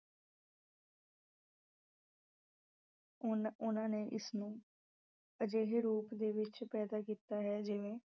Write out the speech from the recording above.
ਉਹਨਾਂ ਅਹ ਉਹਨਾਂ ਨੇ ਇਸ ਨੂੰ ਅਜਿਹੇ ਰੂਪ ਦੇ ਵਿੱਚ ਪੈਦਾਂ ਕੀਤਾ ਹੈ ਜਿਵੇਂ